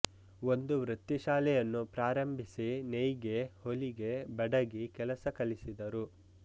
ಒಂದು ವೃತ್ತಿಶಾಲೆಯನ್ನು ಪ್ರಾರಂಭಿಸಿ ನೇಯ್ಗೆ ಹೊಲಿಗೆ ಬಡಗಿ ಕೆಲಸ ಕಲಿಸಿದರು